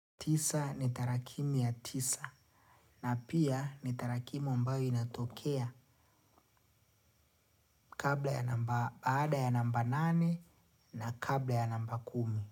Tisa ni tarakimu ya tisa na pia ni tarakimu ambayo inatokea kabla ya namba baada ya namba nane na kabla ya namba kumi.